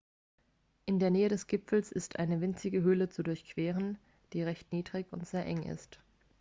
in der nähe des gipfels ist eine winzige höhle zu durchqueren die recht niedrig und sehr eng ist